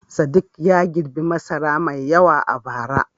Sadiq ya girbi masara mai yawa a bara.